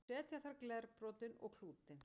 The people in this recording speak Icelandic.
setja þarf glerbrotin og klútinn